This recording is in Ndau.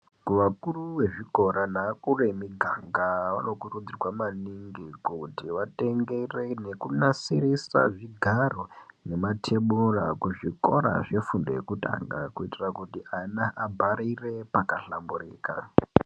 Kuvakuru vezvikora nevakuru vemiganga vanokurudzirwa maningi kuti vatengere nekunasirise zvigaro nematebhura kuzvikora zvefundo yekutanga kuitira kuti ana abharire pakahlamburika.